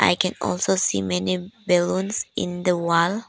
I can also see many balloons in the wall.